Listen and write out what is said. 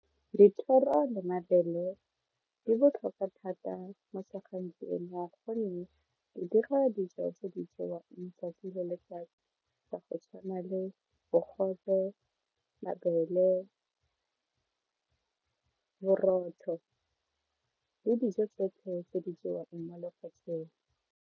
Dithoro le mabele di botlhokwa thata mo gonne di dira dijo tse di jewang 'tsatsi le letsatsi ka go tshwana le bogobe, mabele, borotho le dijo tsotlhe tse di jewang mo lefatsheng.